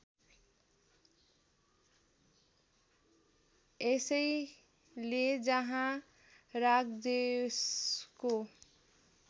यसैले जहाँ रागद्वेषको